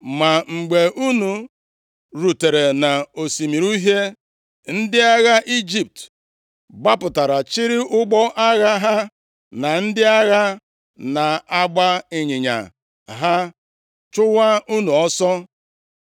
Ma mgbe unu rutere nʼOsimiri Uhie, ndị agha Ijipt gbapụtara chịrị ụgbọ agha ha na ndị agha na-agba ịnyịnya ha chụwa unu ọsọ.